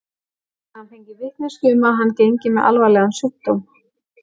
Hafði hann fengið vitneskju um að hann gengi með alvarlegan sjúkdóm?